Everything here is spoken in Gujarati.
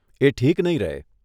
એ ઠીક નહીં રહે.